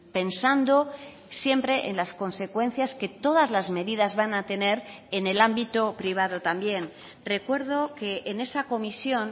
pensando siempre en las consecuencias que todas las medidas van a tener en el ámbito privado también recuerdo que en esa comisión